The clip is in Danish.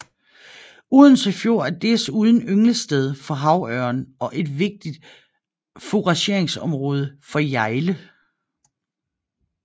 Odense Fjord er desuden ynglested for havørn og et vigtigt fourageringsområde for hjejle